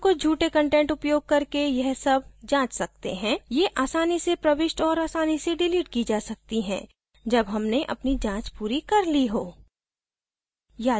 हम कुछ झूठे कंटेंट उपयोग करके यह सब जाँच सकते हैं ये आसानी से प्रविष्ट और आसानी से डिलीट की जा सकती हैं जब हमने अपनी जाँच पूरी कर we हो